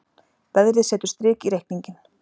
Veðrið setur strik í reikninginn